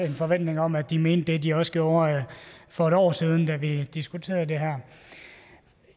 en forventning om at de mente det de også gjorde for et år siden da vi diskuterede det her